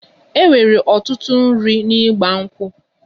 E nwere ọtụtụ nri n'Igba nkwu'